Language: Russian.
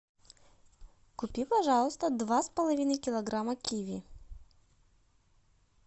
купи пожалуйста два с половиной килограмма киви